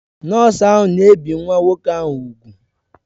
Nọọsụ ahụ na-ebi nwa nwoke ahụ úgwù